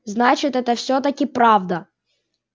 значит это всё-таки правда